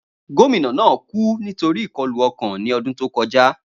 Gomina naa ku nitori ikọlu ọkan ni ọdun to kọja.